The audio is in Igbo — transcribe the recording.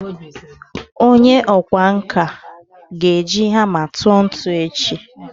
onye okwá nkà ga-eji hama tuo ntu echi